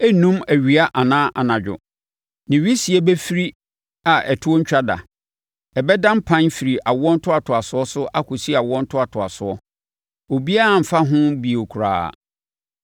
Ɛrennum awia anaa anadwo; ne wisie bɛfiri a ɛtoɔ rentwa da. Ɛbɛda mpan firi awoɔ ntoatoasoɔ akɔsi awoɔ ntoatoasoɔ; obiara remfa ho bio koraa.